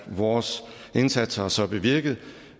vores indsats har så bevirket